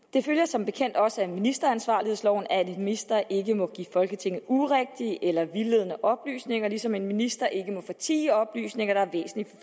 det følger som bekendt også af ministeransvarlighedsloven at en minister ikke må give folketinget urigtige eller vildledende oplysninger ligesom en minister ikke må fortie oplysninger der er væsentlige